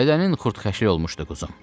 Bədənin xırdaxəşlik olmuşdu, quzum.